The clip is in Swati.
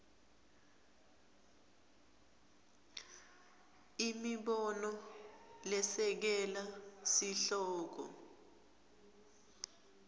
imibono lesekela sihloko